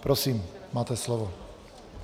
Prosím, máte slovo.